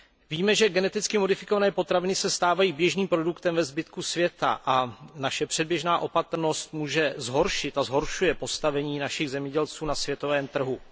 Víme, že geneticky modifikované potraviny se stávají běžným produktem ve zbytku světa a naše předběžná opatrnost může zhoršit a zhoršuje postavení našich zemědělců na světovém trhu.